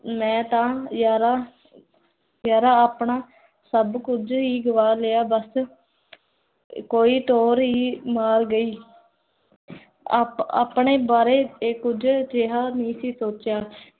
ਮੈਂ ਤਾਂ ਯਾਰਾ ਯਾਰਾ ਆਪਣਾ, ਸਬ ਕੁਜ ਹੀ ਗਵਾ ਲਿਆ, ਬੱਸ ਕੋਈ ਤੋਰ ਰੀ ਮਾਰ ਗਈ ਆਪ ਆਪਣੇ ਬਾਰੇ ਕੁਜ ਅਜੇਹਾ ਨਹੀ ਸੀ ਸੋਚਿਆ